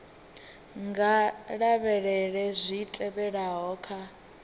nga lavhelela zwi tevhelaho kha